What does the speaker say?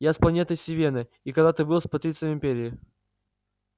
я с планеты сивенна и когда-то был патрицием империи